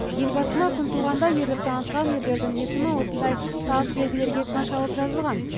ел басына күн туғанда ерлік танытқан ерлердің есімі осындай тас белгілерге қашалып жазылған